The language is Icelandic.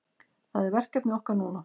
Það er verkefni okkar núna